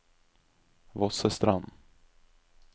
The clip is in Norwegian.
Vossestrand